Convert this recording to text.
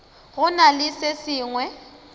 go na le se sengwe